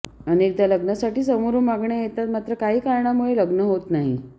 अनेकदा लग्नासाठी समोरून मागण्या येतात मात्र काही कारणांमुळे लग्न होत नाही